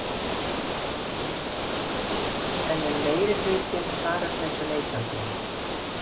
Karen: En ef að meirihlutinn svarar þessu neitandi?